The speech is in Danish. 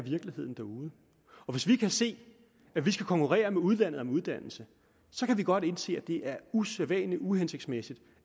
derude og hvis vi kan se at vi skal konkurrere med udlandet på uddannelse så kan vi godt indse at det er usædvanlig uhensigtsmæssigt